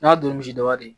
N'a don misi daba ye